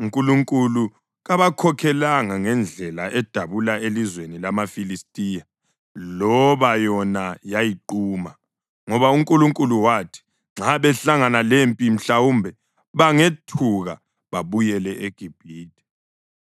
uNkulunkulu kabakhokhelanga ngendlela edabula elizweni lamaFilistiya loba yona yayiquma. Ngoba uNkulunkulu wathi, “Nxa behlangana lempi mhlawumbe bangethuka babuyele eGibhithe.”